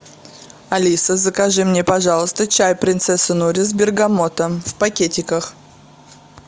алиса закажи мне пожалуйста чай принцесса нури с бергамотом в пакетиках